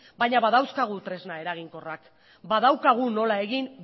baina badauzkagu tresna eraginkorrak badaukagu nola egin